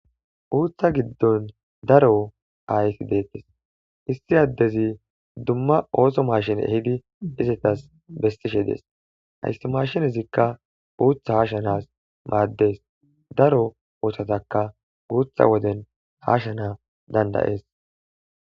Uutha giddon daro aayti deettes isti addezi dumma ooso mashine ehidi izetas bestishe dees ayssi mashinezikka uutha haashanas maaddees daro oohthataka guutha woden haashana dandayees.